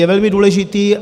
Je velmi důležitý.